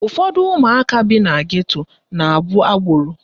Ụfọdụ ụmụaka bi na geto na-abụ agboro